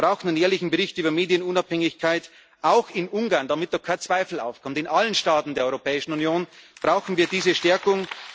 Wir brauchen einen jährlichen Bericht über die Medienunabhängigkeit auch in Ungarn, damit da kein Zweifel aufkommt, in allen Staaten der Europäischen Union brauchen wir diese Stärkung.